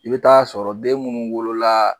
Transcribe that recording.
I be t'a sɔrɔ den munnu wolola